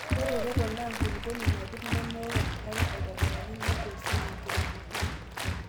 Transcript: Ore ereko naa enkulukuoni napir nemewok enkare aitobiraki negol sii enkiremotoo.